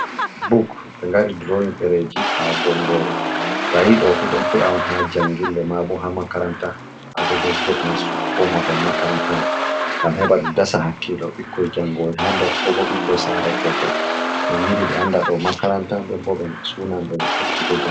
Buk ɓe ngari duroyin Ɗereji ha bongoru. to ayiɗofu ɗon fe'a on ha njangirle, mabo ha Makaranta ha dedei Get nastugo ko Mahol Makaranta man, ngam heɓa ɗum dasa hakkilo ɓikkoi jangohoi ha nder, Kobo ɓikkoi Salatokoi to ɓe ngilli ɓe anda ɗo Makaranta nden bo Sunanɓe ɓe ekkito.